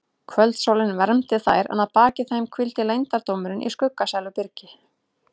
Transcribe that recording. Kvöldsólin vermdi þær en að baki þeim hvíldi leyndardómurinn í skuggsælu byrginu.